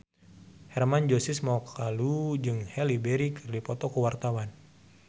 Hermann Josis Mokalu jeung Halle Berry keur dipoto ku wartawan